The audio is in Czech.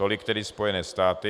Tolik tedy Spojené státy.